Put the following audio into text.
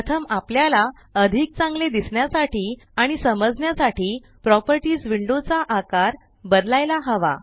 प्रथम आपल्याला अधिक चांगले दिसण्यासाठी आणि समजण्यासाठी प्रॉपर्टीस विंडो चा आकार बदलायला हवा